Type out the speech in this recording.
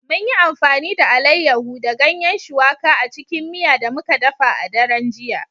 Mun yi amfani da Alayyahu da Ganyen shuwaƙa a cikin miya da muka dafa a daren jiya